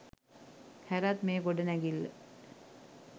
හැරත් මේ ගොඩනැගිල්ල